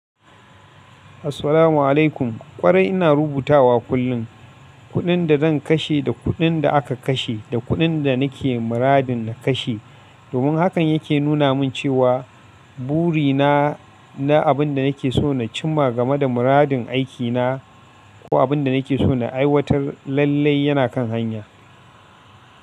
Assalamu alaikum. Kwarai ina rubutawa kullum. Kuɗin da zan kashe da kuɗin da aka kashe da kuɗin da nake muradin na kashe. Domin hakan yake nuna min cewa buri na, na abin da nake so na cimma game da muradin aikina ko abin da nake so na aiwatar lallai yana kan hanya.